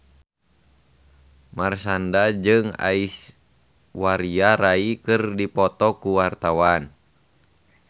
Marshanda jeung Aishwarya Rai keur dipoto ku wartawan